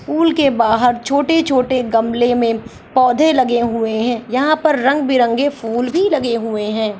Pool के बाहर छोटे-छोटे गमले मे पौधे लगे हुए है यहां पर रंग-बिरंगे फूल भी लगे हुए है।